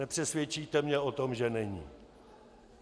Nepřesvědčíte mě o tom, že není.